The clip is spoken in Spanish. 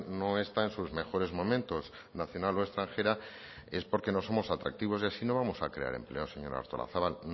no está en sus mejores momentos nacional o extranjera es porque no somos atractivos y así no vamos a crear empleo señora artolazabal